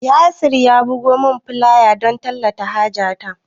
Yasir ya bugo min fulaya don tallata haja ta